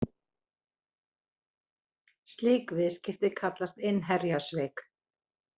Slík viðskipti kallast innherjasvik.